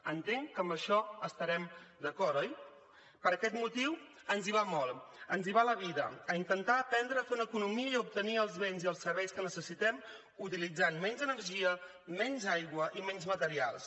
entenc que en això estarem d’acord oi per aquest motiu ens hi va molt ens hi va la vida a intentar aprendre a fer una economia i obtenir els béns i els serveis que necessitem utilitzant menys energia menys aigua i menys materials